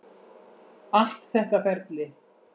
Allt þetta ferli.